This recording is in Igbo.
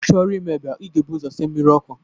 Ị chọrọ ime eba, ị ga-ebu ụzọ sie mmiri ọkụ